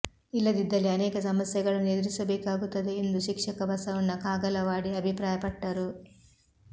ಇಲ್ಲದಿದ್ದಲ್ಲಿ ಅನೇಕ ಸಮಸ್ಯೆಗಳನ್ನು ಎದುರಿಸಬೇಕಾಗುತ್ತಾದೆ ಎಂದು ಶಿಕ್ಷಕ ಬಸವಣ್ಣ ಕಾಗಲವಾಡಿ ಅಭಿಪ್ರಾಯಪಟ್ಟರು